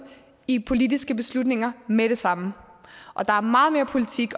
i politiske beslutninger med det samme og der er meget mere politik